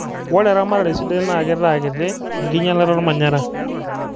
ore eramatare sidai naa keitaa kiti enkinylata olmanyara